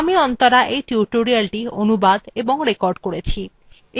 আমি অন্তরা এই tutorialটি অনুবাদ এবং রেকর্ড করেছি